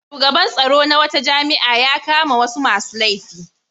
Shugaban tsaro na wata jami'a ya kama wasu masu laifi.